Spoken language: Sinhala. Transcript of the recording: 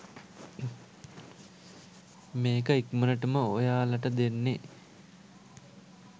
මේක ඉක්මනටම ඔයාලට දෙන්නෙ.